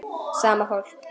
Sama fólk.